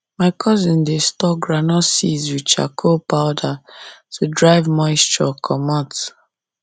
my cousin dey store groundnut seeds with charcoal powder to drive moisture comot